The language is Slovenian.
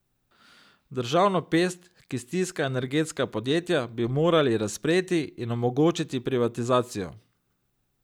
Državno pest, ki stiska energetska podjetja, bi morali razpreti in omogočiti privatizacijo.